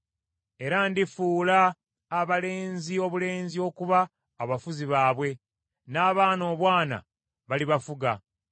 “Era ndifuula abalenzi obulenzi okuba abafuzi baabwe, n’abaana obwana balibafuga.”